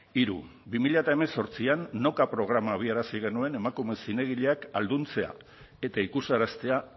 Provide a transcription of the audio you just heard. hiru bi mila hemezortzian noka programa abiarazi genuen emakume zinegileak ahalduntzea eta ikusaraztea